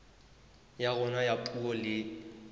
ya rona ya puo le